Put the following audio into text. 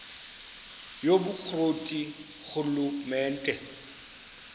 yobukro ti ngurhulumente